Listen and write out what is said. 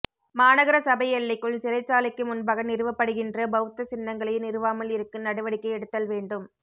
மாநகர சபை எல்லைக்குள் சிறைச்சாலைக்கு முன்பாக நிறுவப்படுகின்ற பௌத்த சின்னங்களை நிறுவாமல் இருக்க நடவடிக்கை எடுத்தல் வேண்டும்